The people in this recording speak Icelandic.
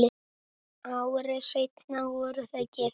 Ári seinna voru þau gift.